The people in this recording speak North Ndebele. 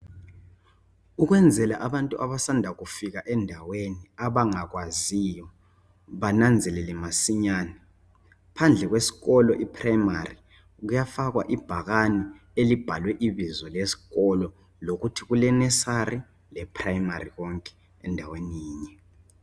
Ukwenzela abantu abasanda kufika endaweni abangakwaziyo bananzelele masinyane phandle kwesikolo iprimary kuyafakwa ibhakani elibhalwe ibizo lesikolo lokuthi kulenursery leprimary konke endaweni yinye